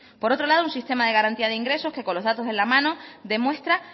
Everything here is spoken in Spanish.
por otro lado un sistema de garantía de ingresos que con los datos en la mano demuestra